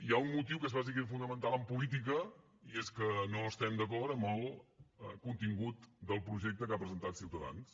hi ha un motiu que és bàsic i fonamental en política i és que no estem d’acord amb el contingut del projecte que ha presentat ciutadans